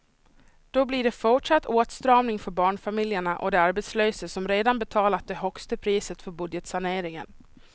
Då blir det fortsatt åtstramning för barnfamiljerna och de arbetslösa som redan betalat det högsta priset för budgetsaneringen.